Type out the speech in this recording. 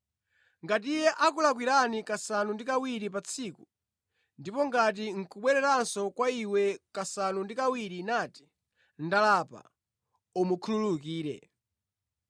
Ngati iye akulakwira kasanu ndi kawiri pa tsiku, ndipo ngati nʼkubweranso kwa iwe kasanu ndi kawiri nati, ‘Ndalapa,’ umukhululukire.”